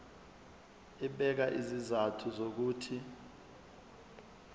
ebeka izizathu zokuthi